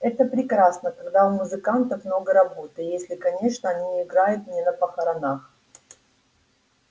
это прекрасно когда у музыкантов много работы если конечно они играют не на похоронах